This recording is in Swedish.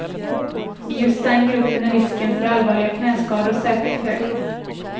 I just den gruppen är risken för allvarliga knäskador särskilt hög.